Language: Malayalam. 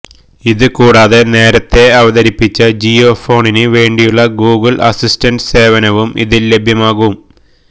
ഇത് കൂടാതെ നേരത്തെ അവതരിപ്പിച്ച ജിയോഫോണിന് വേണ്ടിയുള്ള ഗൂഗിൾ അസിസ്റ്റന്റ് സേവനവും ഇതിൽ ലഭ്യമാകും